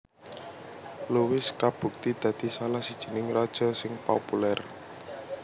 Louis kabukti dadi salah sijining raja sing populer